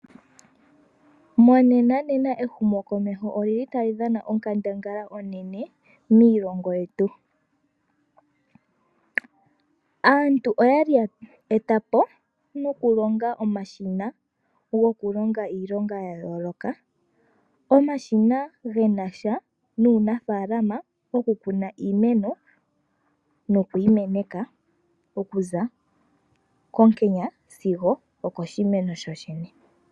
Monenanena ehumo komeho olili tali dhana onkandangala onene miilongo yetu, aantu oyali ya etapo nokulonga omashina gokulonga iilonga yayooloka. Omashina ge nasha nuunafaalama oku kuna iimeno nokuyi meneka okuza konkenya sizo okoshimeno shoshene.